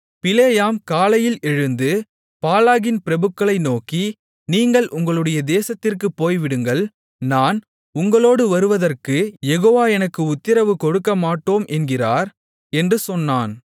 பிலேயாம் காலையில் எழுந்து பாலாகின் பிரபுக்களை நோக்கி நீங்கள் உங்களுடைய தேசத்திற்குப் போய்விடுங்கள் நான் உங்களோடு வருவதற்குக் யெகோவா எனக்கு உத்திரவு கொடுக்கமாட்டோம் என்கிறார் என்று சொன்னான்